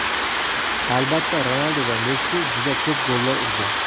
Albatta, Ronaldu va Messi juda ko‘p gollar urdi.